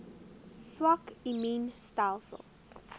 swak immuun stelsels